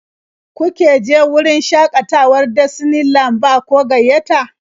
Kuke je wurin shaƙatawar Disney Land ba ko gayyata?